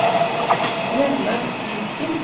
Rønnaug Viken